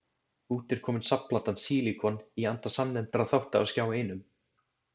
Út er komin safnplatan Sílíkon, í anda samnefndra þátta á Skjá Einum.